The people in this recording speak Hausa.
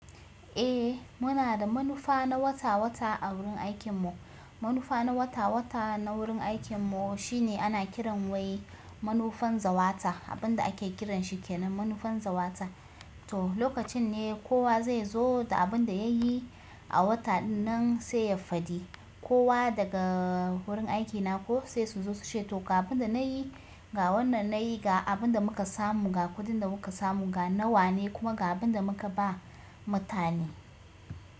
Eh muna da manufa na wata-wata a wurin aikinmu. Manufa na wata-wata na wurin aikinmu shine ana kiran wai manufan zawata abin da ake kiranshi kenan manufan zawata. To lokacin ne kowa zai zo da abinda yayi a wata dinnan sai ya faɗi. Kowa daga gurin aikina ko sai su zo suce to, ga abinda nayi, ga wannan nayi, ga abinda muka samu, ga kuɗin da muka samu, ga nawa ne kuma ga abinda muka ba mutane.